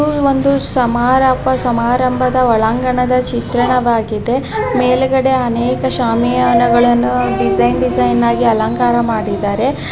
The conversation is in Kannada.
ಇದು ಒಂದು ಸಮಾರಂಬ--ಸಮಾರಂಭದ ಒಳಾಂಗಣದ ಚಿತ್ರಣವಾಗಿದೆ ಮೇಲೆಗಡೆ ಅನೇಕ ಶಮಿಯಾನಗಳನ್ನು ಡಿಸೈನ್ ಡಿಸೈನ್ ಹಾಗಿ ಅಲಂಕಾರ ಮಾಡಿದರೆ.